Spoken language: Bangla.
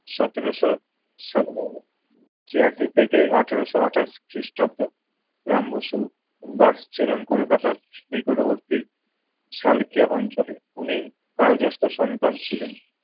সতেরোশো সাত~ ছিয়াশি থেকে আঠারোশো আটাশ খ্রিস্টাব্দ রাম বসু বাস ছিলেন কলকাতার নিকটবর্তী সালকিয়া অঞ্চলে। উনি তালগাস্ট সন্তান ছিলেন।